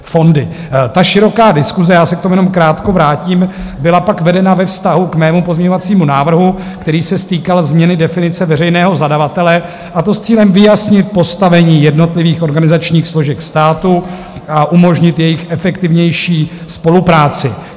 Ta široká diskuse, já se k tomu jenom krátko vrátím, byla pak vedena ve vztahu k mému pozměňovacímu návrhu, který se týkal změny definice veřejného zadavatele, a to s cílem vyjasnit postavení jednotlivých organizačních složek státu a umožnit jejich efektivnější spolupráci.